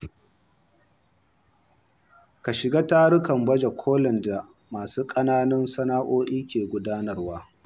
Ka shiga tarukan baje kolin da masu kananan sana’o’i ke gudanarwa.